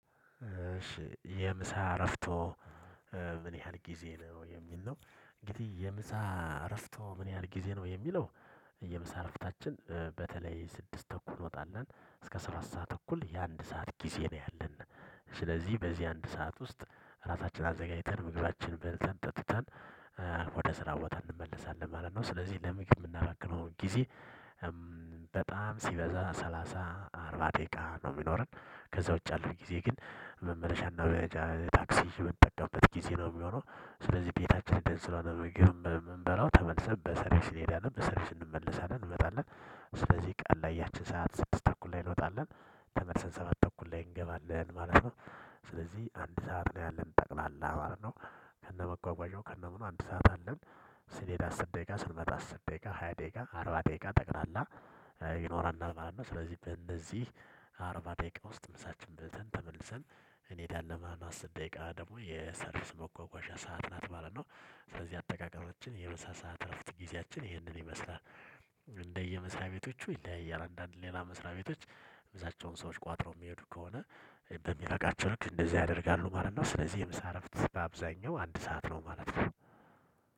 እሺ የምሳ አረፍቶ ምን ያህል ጊዜ ነው የሚል ነው? እንግዲ የምሳ እረፍቶ ምን ያህል ጊዜ ነው የሚለው። የምሳ ረፍታችን በተለይ ስድስት ተኩል እንወጣለን እስከ ሰባት ሰዓት ተኩል የአንድ ሰዓት ጊዜ ነው ያለን ስለዚህ በዚህ አንድ ሰዓት ውስጥ ራሳችንን አዘጋጅተን ምግባችንን በልተን ጠጥተን ወደ ስራ ቦታ እንመለሳለን ማለት ነው። ስለዚህ ለምግብ የምናባክነውን ጊዜ በጣም ሲበዛ ሰላሳ አርባ ደቂቃ ነው የሚኖረን። ከዛ ውጪ ያለው ጊዜ ግን መመለሻና ታክሲ የምንጠበቅበት ጊዜ ነው የሚሆነው። ስለዚህ ቤታችን እንትን ስለሆነ ምግብም እምንበላው ተመልሰን በሰርቢስ እንሄዳለን በሰርቢስ እንመለሳለን እንመጣለን። ስለዚህ ቀን ላይ ያቺን ሰዓት ስድስት ተኩል ላይ እንወጣለን ተመልሰን ሰባት ተኩል ላይ እንገባለን ማለት ነው። ስለዚህ አንድ ሰዓት ነው ያለን ጠቅላላ ማለት ነው። ከነመጓጓዣው ከነምኑ አንድ ሰዓት አለን። ስንሄድ አስር ደቂቃ ስንመጣ አስር ደቂቃ ሃያ ደቂቃ አርባ ደቂቃ ጠቅላላ ይኖራል ማለት ነው። ስለዚህ በነዚህ አርባ ደቂቃ ውስጥ ምሳችን በልተን ተመልሰን እኔዳለን ማለት ነው። አስር ደቂቃ ደግሞ የሰርቪስ መጓጓዣ ሰዓት ናት ማለነው። ስለዚህ አጠቃቀማችን የምሳሳት እረፍት ጊዜያችን ይህንን ይመስላል። ቤቶቹ ይለያያል አንደ አንድ ሌላ መስሪያ ቤቶች ምሳቸውን ሰዎች ቋጥረው የሚሄዱ ከሆነ በሚበቃቸው ልክ እንደዚህ ያደርጋሉ ማለት ነው። ስለዚህ የምሳ አረፍት አብዛኛው አንድ ሰዓት ነው ማለት ነው።